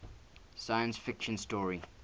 science fiction story